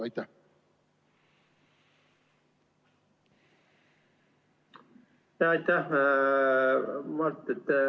Aitäh!